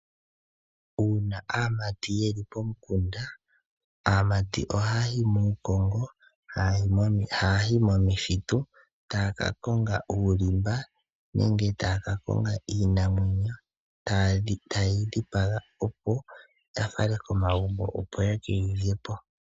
Uuna aamati yeli pomukunda. Aamati ohaya yi muukongo, haya yi momithitu taya ka konga uulimba, nenge taya ka konga iinamwenyo. Eetaye yi dhipaga opo ya fale komagumbo, opo ye keyi lyepo.